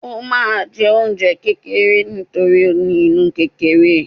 o ma jẹ oúnjẹ kekere nítorí o ní inú kerere